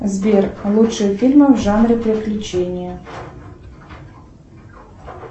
сбер лучшие фильмы в жанре приключения